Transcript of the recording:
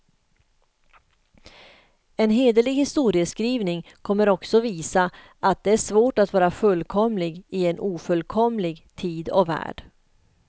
En hederlig historieskrivning kommer också visa, att det är svårt att vara fullkomlig i en ofullkomlig tid och värld.